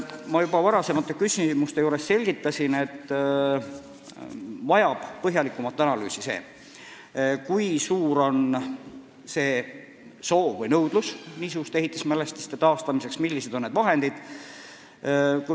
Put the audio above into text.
" Ma juba varasematele küsimustele vastates selgitasin, et vajab põhjalikumat analüüsi, kui suur on soov või nõudlus niisuguste ehitismälestiste taastamiseks ja kui suured on need vahendid.